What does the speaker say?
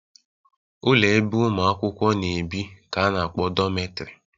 Ụlọ ebe ụmụ akwụkwọ na-ebi ka a na-akpọ dọmetrị